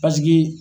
Paseke